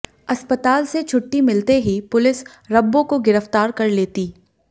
अस्पताल से छुट्टी मिलते ही पुलिस रब्बो को गिरफ्तार कर लेती